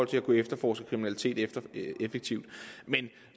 til at kunne efterforske kriminalitet effektivt men